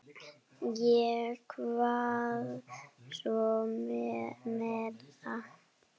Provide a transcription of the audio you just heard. Ég kvað svo vera.